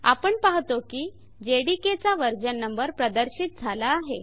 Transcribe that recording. आपण पाहतो की जेडीके चा वर्जन नंबर प्रदर्शित झाला आहे